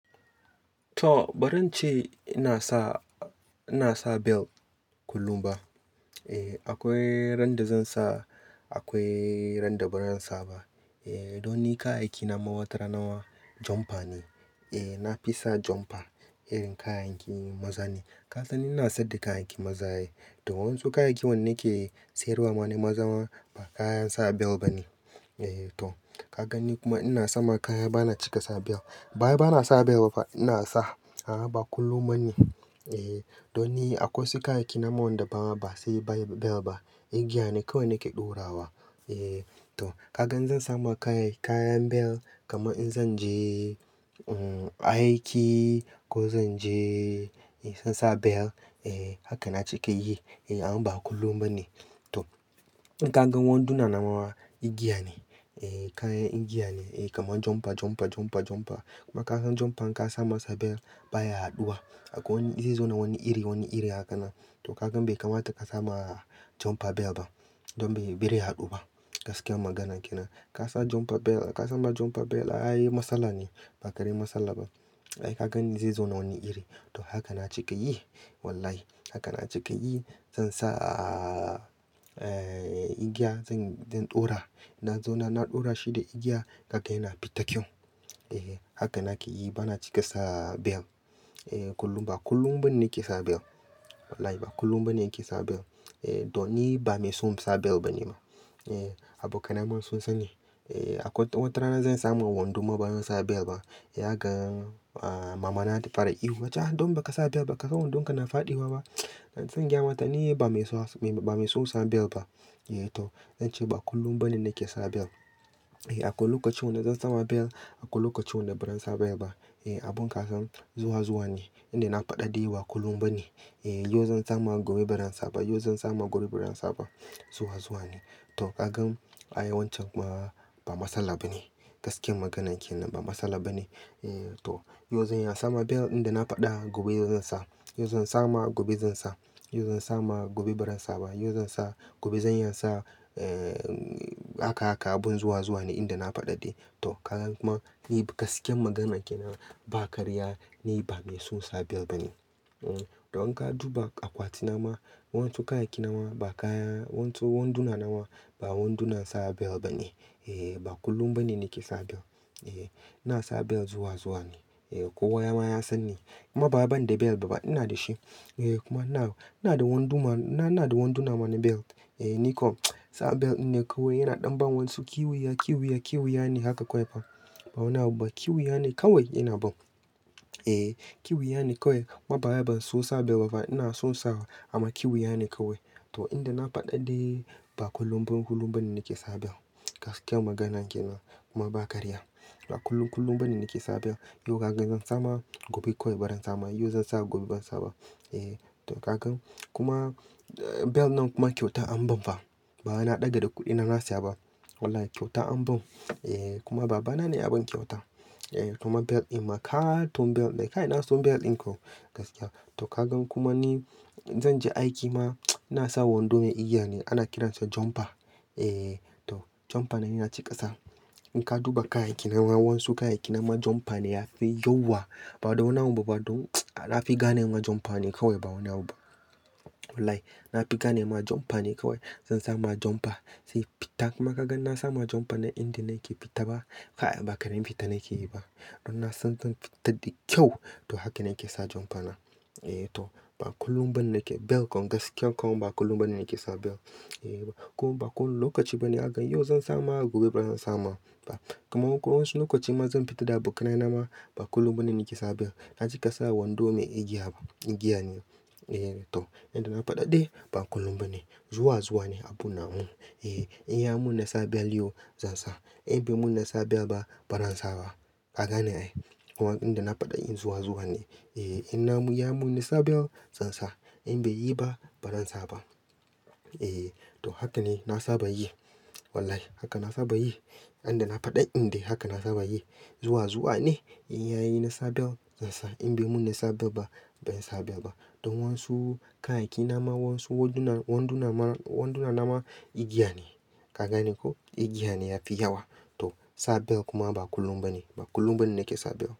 To, ba rance ina sa, ina sa bel kullum ba. E, akwai ran da zan sa, akwai ran da ba zan sa ba. E, don ni kayayyaki ma watarana jumper ne. E, na fi sa jumper, irin kayayyakin maza ne. Ka san ni ina sayad da kayan yayyakin maza ai. Ton wansu kayayyaki wanda nake sayarwa ma ne maza ma, ba kayan sa bel ba ne. E to, ka gan ni kuma ina sama kaya, bana cika sa bel. Ba wai bana sa bel ba, ina sa, a ba kullum ba ne. E, don ni akwai wasu kayan aiki na ma wanda ba, ba sai ba bel ba. Igiya ne kawai nake ɗora wa. E, to kagan zan sama kaya, kayan bel kama in zan je, uhm, aiki ko zan je, in zan sa bel, e haka na cika yi. E amma ba kullum ba ne. To, in ka gan wanduna na ma igiya ne. E, kayan igiya ne. E, kamar jumper, jumper, jumper, jumper. Kuma ka san jumper in ka sa masa bel baya haɗuwa. Akwai wani, zai zauna wani iri, wani iri haka na. To kagan bai kamata ka sa ma jumper bel ba. Don bai barai haɗu ba. Gaskiyar magana ke nan. Ka sa jumper bel, ka sa ma jumper bel, a yi matsala ne. Ba karamar salla ba. Ai kaga zai zauna wani iri. To haka na cika yi. Wallahi. Haka na cika yi. Zan sa, ee, igiya, zan, zan ɗora. Na zauna na ɗora shi da igiya, haka yana fita kyau. E, haka nake yi, bana cika sa bel. E, kullum ba, kullum ba ne nake sa bel. Wallahi ba kullum ba ne nake sa bel. E, don ni ba mai son sa bel ba ne ma. E, abokaina ma sun sani. E, akwai watarana zan samo wandu ma ba zan sa bel ba. Ya ga, aa, mama da ta fara ihu, "Nace don ba ka sa bel ba. Ba ka san wandon ka na faɗuwa ba?" Zan gayamata, "Ni ba mai son, ba mai son sa bel ba." E to, zan ce ba kullum ba ne nake sa bel. E, akwai lokaci wanda zan sa ma bel, akwai lokaci wanda ba ran sa bel ba. E, abun ka san zuwa zuwa ne. Inda na faɗa de ba kullum ba ne. E, yau zan sa ma gobe ba zan sa ba, yau zan sa ma gobe ba zan sa ba. Zuwa zuwa ne. To ka gan, a yi wancan ba, ba matsala ba ne. Gaskiyar magana ke nan, ba matsala ba ne. E to, yau zan ya sa ma bel inda na faɗa gobe zan sa. Yau zan sa ma gobe zan sa. Yau zan sa ma gobe ba zan sa ba. Yau zan sa gobe zan iya sa, ee, haka haka abun zuwa zuwa ne inda na faɗa de. To ka gan kuma, ni gaskiyar magana ke nan, ba karya, ni ba mai son sa bel ba ne. Uhm, don ka duba akwati na ma, wasu kayan aiki na ma ba kaya, wasu wanduna na ma ba wanduna sa bel ba ne. E, ba kullum ba ne nake sa bel. E, ina sa bel zuwa zuwa ne. E, kowa ya ma ya san ni. Kuma ba wai ban da bel ba ba, ina da shi. E kuma ina, ina da wanduna, ina da wanduna ma ne belt. E ni ko sa bel in ne kawai yana ɗan ban wasu kiwiya, kiwiya, kiwiya ne haka kawai fa. Ba wani abu ba. Kiwiya ne kawai yana ban. E, kiwiya ne kawai. Kuma bawai ban so sa bel ba ba, ina son sawa. Amma kiwiya ne kawai. To inda na faɗaɗɗe ba kullum ba, kullum ba ne nake sa bel. Gaskiyar magana ke nan. Kuma ba karya. Ba kullum, kullum ba ne nake sa bel. Yau ka gan zan sa ma gobe kawai ba zan sa ba. Yau zan sa gobe ba zan sa ba. E, to ka gan. Kuma, bel nan kuma kyauta an ban fa. Bawai na ɗaga da kuɗina na siya ba. Wallahi kyauta an bani. E kuma baba na ne ya ban kyauta. E kuma bel in ma ka ton bel, kai na son bel in ko. Gaskiya. To ka gan kuma ni zan je aiki ma ina sa wando mai igiya ne, ana kiransa jumper. E, to jumper na yana cika ƙasa. In ka duba kayan aiki na ma wasu kayan aiki na ma jumper ne yafi yawa. Ba da wani abu ba don na fi gane ma jumper ne kawai ba wani abu ba. Wallahi. Na fi gane ma jumper ne kawai. Zan sa ma jumper. Sai fita kuma ka gan na sa ma jumper na inda nake fita ba, kaya ba karamin fita nake yi ba. Don na san zan fita da kyau. To haka nake sa jumper na. E to, ba kullum ba ne nake, bel kom gaskiya kaman ba kullum ba ne nake sa bel. E, kuma ba kowani lokaci ba ne zakaga, yau zan sa ma gobe ba zan sa ma ba. Kuma wasu lokaci ma zan fita da abokai na ma, ba kullum ba ne nake sa bel. Na cika sa wando mai igiya ba. Igiya ne. E to, yanda na faɗa de ba kullum ba ne. Zuwa zuwa ne abun na hun. E, in ya mun nasa bel yau, zan sa. In bai mun nasa bel ba, ba ran sa ba. Ka gane ai. Amma inda na faɗa de zuwa zuwa ne. E, in na mu ya mun nasa bel, zan sa. In bai yi ba, ba zan sa ba. E, to haka ne na saba yi. Wallahi. Haka na saba yi. Inda na faɗa inde haka na saba yi. Zuwa zuwa ne. In ya yi nasa bel, zan sa. In bai mun nasa bel ba, ben sa bel ba. Don wasu kayan aiki na ma wasu wanduna, wanduna ma, wanduna na ma igiya ne. Ka gane ko? Igiya ne yafi yawa. To, sa bel kuma ba kullum ba ne. Ba kullum ba ne nake sa bel.